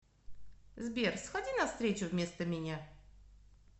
сбер сходи на встречу вместо меня